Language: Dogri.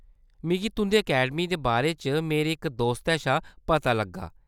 मिगी तुंʼदी अकैडमी दे बारे च मेरे इक दोस्तै शा पता लग्गा।